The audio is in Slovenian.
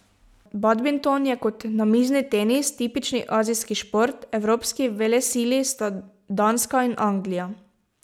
Badminton je, kot namizni tenis, tipični azijski šport, evropski velesili sta Danska in Anglija.